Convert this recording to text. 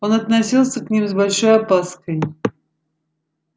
он относился к ним с большой опаской